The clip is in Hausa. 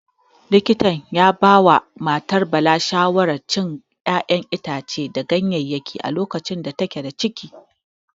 Likita ya ya ba wa matar Bala shawaran cin ƴaƴan itace da ganyayyaki a lokacin da take da ciki.